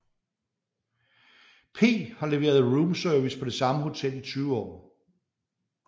P har leveret roomservice på det samme hotel i 20 år